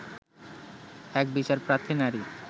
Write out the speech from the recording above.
এক বিচারপ্রার্থী নারী